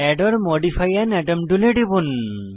add or modify an atom টুলে টিপুন